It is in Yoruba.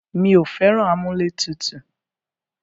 Mí ò fẹ́ràn amúlẹ̀tutù.